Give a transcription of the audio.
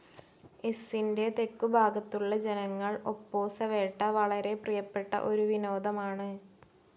എസ്സിൻ്റെ തെക്കുഭാഗത്തുള്ള ജനങ്ങൾ ഒപ്പോസവേട്ട വളരെ പ്രിയപ്പെട്ട ഒരു വിനോദമാണ്.